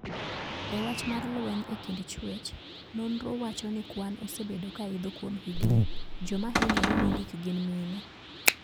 E wach mar lweny e kind chwech, ninro wacho ni kwan osebedo kaidho kuom higni. Joma hinyore mogik gin mine.